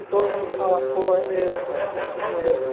E todo mundo fala, pô, é mesmo, é isso mesmo.